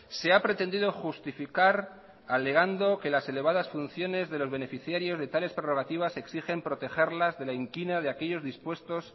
se ha pretendido justificar alegando que las elevadas funciones de los beneficiarios de tales prerrogativas exigen protegerlas de la inquina de aquellos dispuestos